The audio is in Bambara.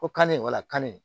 Ko kanni walakanni